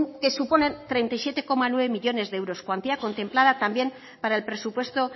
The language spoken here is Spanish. con que suponen treinta y siete coma nueve millónes de euros cuantía contemplada también para el presupuesto